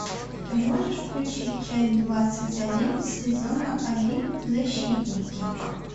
ты можешь включить часть двадцать один сезона один защитники